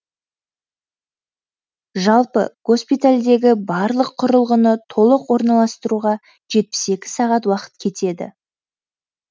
жалпы госпитальдегі барлық құрылғыны толық орналастыруға жетпіс екі сағат уақыт кетеді